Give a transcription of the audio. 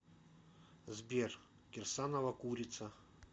сбер кирсанова курица